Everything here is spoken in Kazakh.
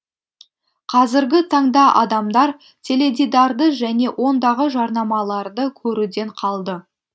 қазіргі таңда адамдар теледидарды және ондағы жарнамаларды көруден қалды